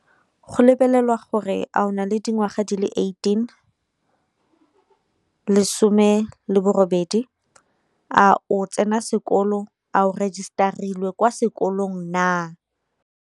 Go lebelelwa gore a o na le dingwaga di le eighteen, lesome le bo robedi. A o tsena sekolo, a register-ilwe kwa sekolong naa.